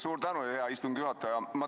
Suur tänu, hea istungi juhataja!